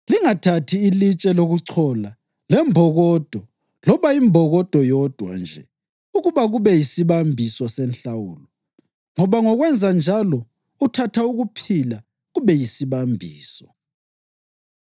“Lingathathi ilitshe lokuchola lembokodo loba imbokodo yodwa nje ukuba kube yisibambiso senhlawulo, ngoba ngokwenza njalo uthatha ukuphila kube yisibambiso.